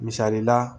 Misali la